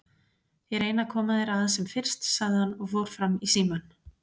Ég reyni að koma þér að sem fyrst, sagði hann og fór fram í símann.